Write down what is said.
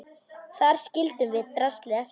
Þar skildum við draslið eftir.